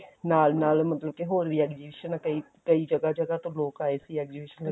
ਨਾਲ ਨਾਲ ਮਤਲਬ ਕੀ ਹੋਰ ਵੀ exhibition ਕਈ ਕਈ ਜਗਾ ਜਗਾ ਤੋਂ ਲੋਕ ਆਏ ਸੀ exhibition